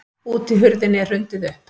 Útihurðinni er hrundið upp.